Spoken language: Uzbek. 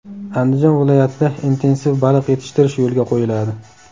Andijon viloyatida intensiv baliq yetishtirish yo‘lga qo‘yiladi.